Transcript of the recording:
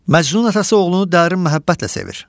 Məcnun atası oğlunu dərin məhəbbətlə sevir.